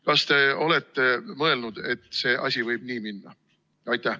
Kas te olete mõelnud, et see asi võib nii minna?